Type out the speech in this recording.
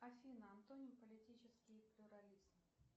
афина антоним политический плюрализм